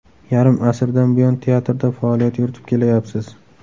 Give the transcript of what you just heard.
Yarim asrdan buyon teatrda faoliyat yuritib kelayapsiz.